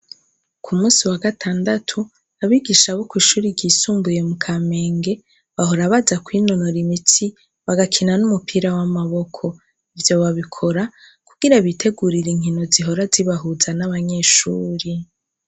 Ku munsi wa gatandatu abigisha bo kw'ishure ryisumbuye mu Kamenge bahora baza kwinonora imitsi bagakina n'umupira w'amaboko. Ivyo babikora kugirango bitegurire inkino zihora zibahuza n'abanyeshure.